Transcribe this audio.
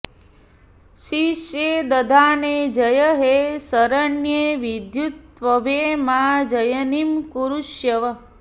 शीर्षे दधाने जय हे शरण्ये विद्युत्प्रभे मां जयिनं कुरूष्व